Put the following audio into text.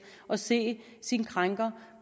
at se sin krænker